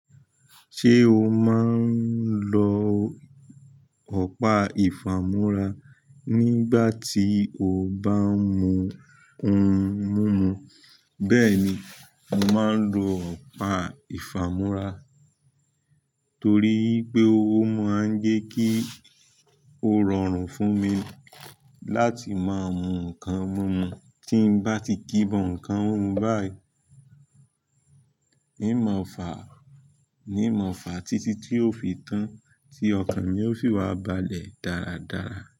Ṣé o máa ń lo ọ̀pá ìfàmúra nígbà tí o bá ń mu ohun mímu? Bẹ́ẹ̀ ni, mo máa ń lo ọ̀pá ìfàmúra torí pé ó máa ń jẹ́ kí ó rọrùn fún mi láti máa mu nǹkan mímu. Tí n bá ti kíbọn nǹkan mímú báì, n mọ̀fà, ní mọ̀fà títí tí ó fi tán tí ọkàn mi ó sì wá balẹ̀ dáradára.